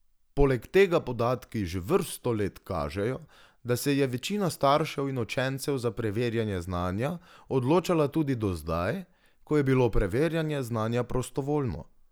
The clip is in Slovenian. Poleg tega podatki že vrsto let kažejo, da se je večina staršev in učencev za preverjanje znanja odločala tudi do zdaj, ko je bilo preverjanje znanja prostovoljno.